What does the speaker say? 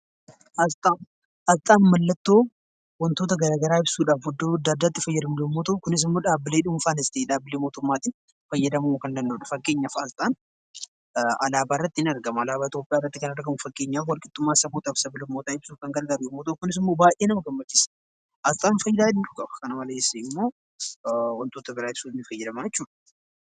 Asxaan mallattoo wantoota gara garaa ibsuudhaaf iddoo adda addaatti fayyadamnu yommuu ta'u, kunis immoo dhaabbilee dhuunfaanis ta'e dhaabbilee mootummaatiin fayyadamuu kan danda'udha. Fakkeenyaaf asxaan alaabaa irratti ni argama, alaabaa Itoophiyaa irratti kan argamu fakkeenyaaf walqixxummaa sabootaaf sab-lammootaa ibsuuf kan gargaaru yommuu ta'u, kunis immoo baay'ee nama gammachiisa! Asxaan faayidaa hedduu qaba. Kana malees immoo wantoota biraa ibsuuf ni fayyadamna jechuudha.